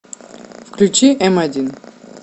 включи м один